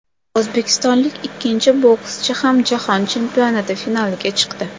O‘zbekistonlik ikkinchi bokschi ham Jahon chempionati finaliga chiqdi.